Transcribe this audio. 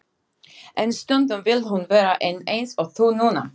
En stundum vill hún vera ein eins og þú núna.